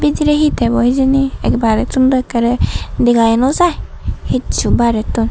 bidire he thebo hijeni barettun dw ekkere degayo no jay hichu barettun.